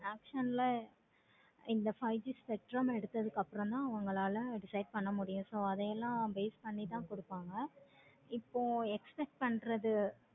இந்த five G spectrum எடுத்ததும் அப்பறம் தான் excite பண்ண முடியும். பண்ணி தான் கொடுப்பாங்க. இப்போ expect பண்றது